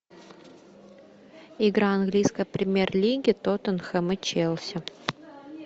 игра английской премьер лиги тоттенхэм и челси